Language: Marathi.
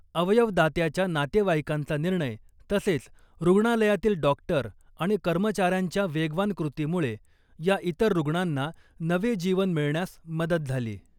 अवयवदात्याच्या नातेवाईकांचा निर्णय तसेच रुग्णालयातील डॉक्टर आणि कर्मचाऱ्यांच्या वेगवान कृतीमुळे या इतर रुग्णांना नवे जीवन मिळण्यास मदत झाली .